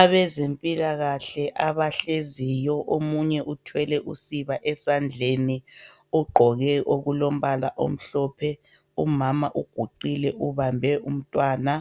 abezempilakahle abahleziyo omunye uthwele usiba esandleni ugqoke okulombala omhlophe umama uguqile ubambe umntwana